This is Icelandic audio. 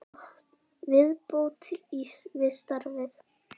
Viðbót við svarið